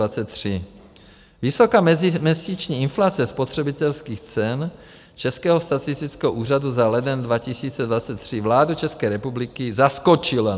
Vysoká meziměsíční inflace spotřebitelských cen Českého statistického úřadu za leden 2023 vládu České republiky zaskočila.